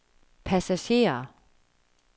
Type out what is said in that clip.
passagerer